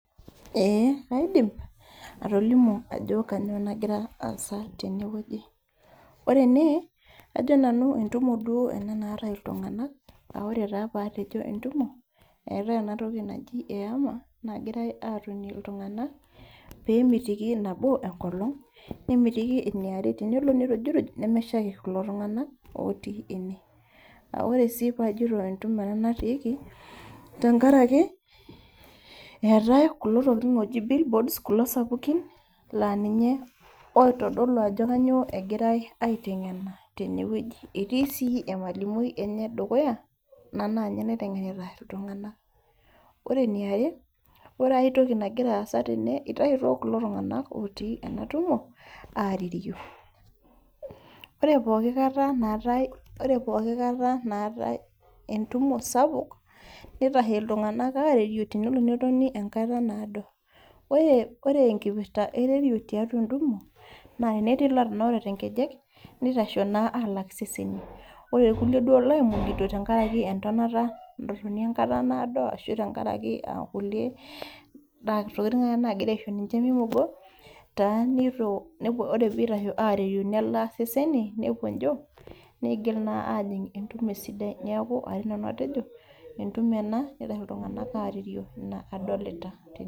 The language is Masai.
Ee kaidim atolimu ajo kainyoo nagira aasa tenewueji ore ene ajo nanu entumo duo ena naata ltunganak aa ore taa paatejo entumo eetae ena toki naji ehema nagirae atonie ltunganak pee emitiki nabo enkolong nemitiki eniare tenelo nirujuruj neshaiki kulo tunganak otii ene ore sii paajito entumo ena natiiki tenkaraki eetae kulo tokitin ooji billboards kulo tokitin sapukin laa ninye oitodolu ajo kanyio egirae aitengen tene wueji etii sii emalimui ene dukuya enaa ninye naitengenita ltunganak ore eniare aitoki nagira aasa tene eitayituo kulo tunganak otii ena tumo aah egira arerio ore pooki kata naatae entumo sapuk neitashe ltunganak arerio enkata natotona enkata naado ore enkipirta ererio tenkata entumo naa ore ltunganak atanaurate nkejek neitashe naa alak iseseni ore lkulie duo loimugito tenkaraki entonata etotoni enkata naado ashu enkaraki naa kulie tokitin ake naagira aisho ninche meimugo ore pee eitasho arerio nelaa ninche serenity nepuo njio niigil naa ajing entumo esidai niaku atii nanu atejo entumo ena neitashe ltunganak arerio naa adolita